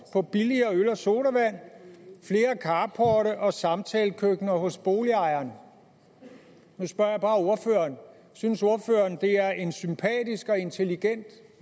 på billigere øl og sodavand flere carporte og samtalekøkkener hos boligejerne nu spørger jeg bare ordføreren synes ordføreren det er en sympatisk og intelligent